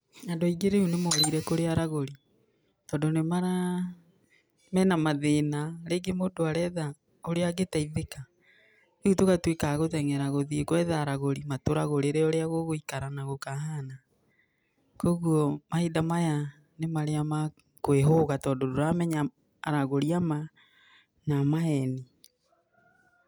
Andũ aingĩ rĩu nĩ morĩire kũrĩ aragũri tondũ nĩ mara, mena mathĩna, rĩngĩ mũndũ aretha ũrĩa angĩteithĩka, rĩu tũgatũika a gũteng'era gũthĩi gwetha aragũri matũragũrĩre ũrĩa gũgũikara na gũkahana. Koguo mahinda maya nĩ marĩa ma kwĩhũga, tondũ ndũramenya aragũri a ma na a maheni.